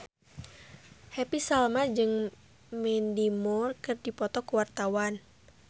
Happy Salma jeung Mandy Moore keur dipoto ku wartawan